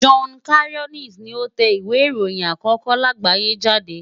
Johann Carolus ni ó tẹ ìwé ìròyìn àkókó láàgbáyé jáde.